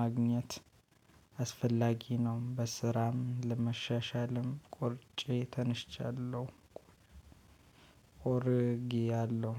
ማግኘት አስፈላጊ ነው። በስራም ለመሻሻልም ቆርጬ ተነስቻለሁ። ቆርጌያለሁ